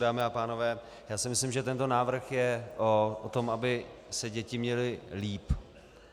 Dámy a pánové, já si myslím, že tento návrh je o tom, aby se děti měly lépe.